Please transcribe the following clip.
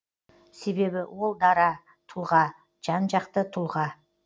себебі ол дара тұлға жан жақты тұлға